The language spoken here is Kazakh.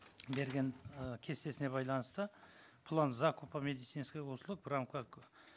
берген ы кестесіне байланысты план закупа медицинских услуг прямо как